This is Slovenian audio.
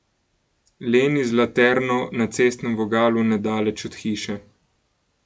Leni z laterno na cestnem vogalu nedaleč od hiše.